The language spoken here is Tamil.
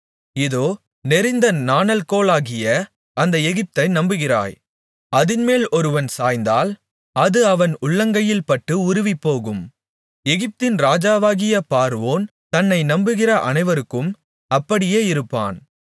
இதோ நெரிந்த நாணல்கோலாகிய அந்த எகிப்தை நம்புகிறாய் அதின்மேல் ஒருவன் சாய்ந்தால் அது அவன் உள்ளங்கையில்பட்டு உருவிப்போகும் எகிப்தின் ராஜாவாகிய பார்வோன் தன்னை நம்புகிற அனைவருக்கும் அப்படியே இருப்பான்